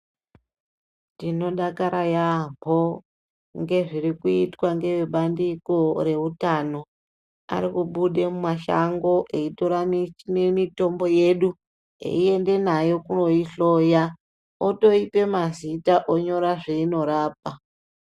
Tinodakara yaamboo ngezviri kuitwa ngevebandiko reutano ari kubude mumashango aitora mitombo yedu eiende nayo koihloyaa otoita mazita onyora zveinorapa.